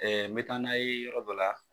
Ɛɛ n bɛ taa n'a ye yɔrɔ dɔ la